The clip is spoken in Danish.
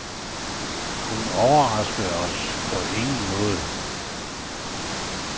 Hun overraskede os på ingen måde.